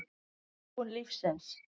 Þróun lífsins